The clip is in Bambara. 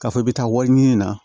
K'a fɔ i bɛ taa wari ɲini na